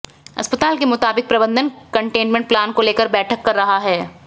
अस्पताल के मुताबिक प्रबंधन कंटेनमेंट प्लान को लेकर बैठक कर रहा है